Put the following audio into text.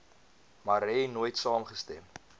marais nooit saamgestem